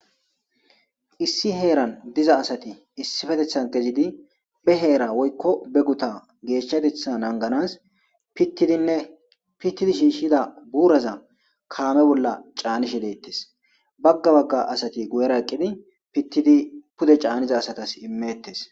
issi heeran diza asati issifetethan kezidi be heera woykko be guta geeshshatetha anganas pittidinne pittidi shiishshida buuraza kaame bolla caanishe leettes bagga bagga asati gu7era eqqidi pittidi pude caaniza asatas imettes